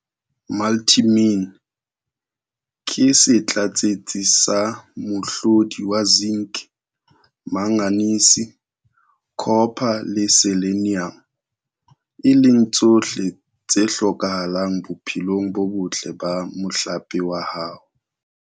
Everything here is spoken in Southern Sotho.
Multimin, ke setlatsetsi sa mohlodi wa Zinc, Manganese, Copper le Selenium - e leng tsohle tse hlokahalang bophelong bo botle ba mohlape wa hao.